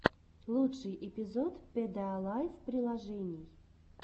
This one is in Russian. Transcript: лучший эпизод пэдэалайф приложений